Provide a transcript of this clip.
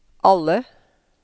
alle